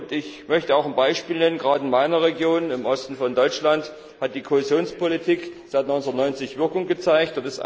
Ich möchte auch ein Beispiel nennen Gerade in meiner Region, im Osten von Deutschland, hat die Kohäsionspolitik seit 1990 Wirkung gezeigt.